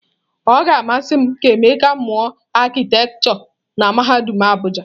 Ọ ga-amasị m ka Emeka mụọ arkitekture na mahadum Abuja.